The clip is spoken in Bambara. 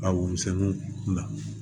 A woson na